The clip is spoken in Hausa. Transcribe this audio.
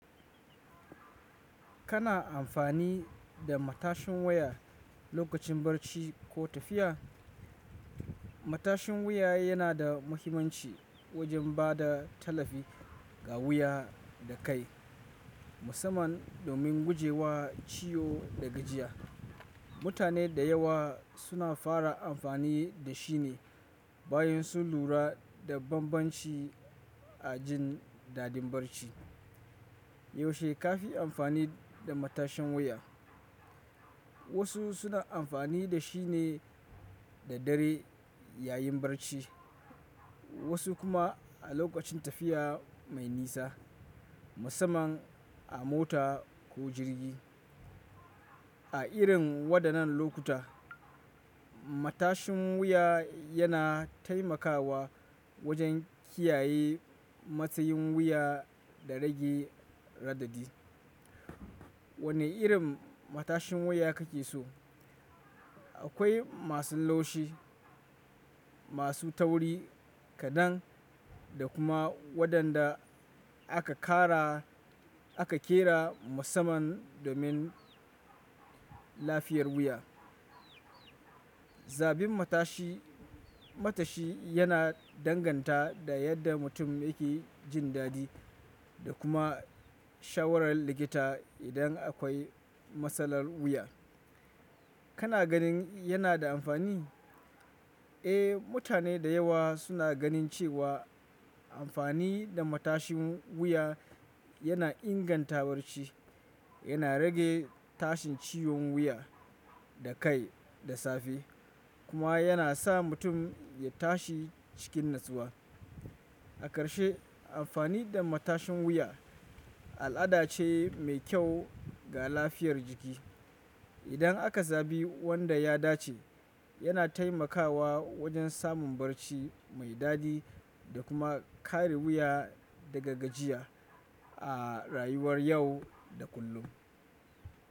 Kana amfani da matashin wuya lokacin barci ko tafiya? Matashin wuya yana da muhimmanci wajen ba da tallafi ga wuya da kai, musamman domin guje wa ciwo da gajiya. Mutane da yawa suna fara amfani da shi ne bayan sun lura da bambanci a jin dadin barci. Yaushe ka fi amfani da matashin wuya? Wasu suna amfani da shi ne da dare yayin barci, wasu kuma a lokacin tafiya mai nisa, musamman a mota ko jirgi. A irin waɗannan lokuta, matashin wuya yana taimakawa wajen kiyaye matsayin wuya da rage raɗaɗi. Wane irin matashin wuya kake so? Akwai masu laushi, masu tauri kaɗan, da kuma waɗanda aka ƙara aka ƙera musamman domin lafiyar wuya. Zabin matashi, matashi yana danganta da yadda mutum yake jin daɗi da kuma shawarar likita idan akwai matsalar wuya. Kana ganin yana da amfani? Eh, mutane da yawa suna ganin cewa amfani da matashin wuya yana inganta barci, yana rage tashin ciwon wuya da kai da safe kuma yana sa mutum ya tashi cikin natsuwa. A karshe, amfani da matashin wuya al'ada ce mai kyau ga lafiyar jiki. Idan aka zabi wanda ya dace, yana taimakawa wajen samun barci mai daɗi da kuma kare wuya daga gajiya a rayuwar yau da kullum.